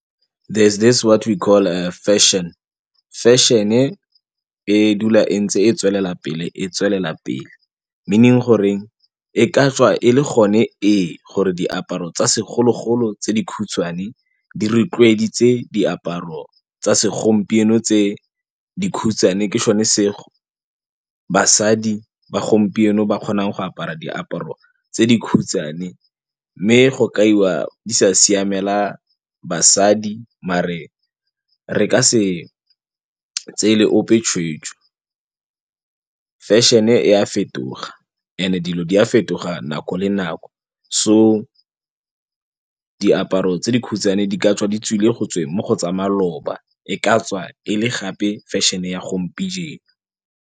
There's this what we call fashion, fashion-e e dula e ntse e tswelela pele e tswelela pele meaning gore e ka tswa e le gone ee gore diaparo tsa segologolo tse di khutshwane di rotloeditse diaparo tsa segompieno tse dikhutshwane ke sone se basadi ba gompieno ba kgonang go apara diaparo tse dikhutshwane m mme go kaiwa di sa siamela basadi mare re ka se tseele ope tshweetso. Fashion-e a fetoga and-e dilo di a fetoga nako le nako so diaparo tse dikhutshwane di ka tswa di tswile go tsweng mo go tsa maloba e ka tswa e le gape fashion-e ya gompieno.